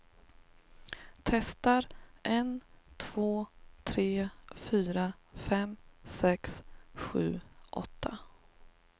Testar en två tre fyra fem sex sju åtta.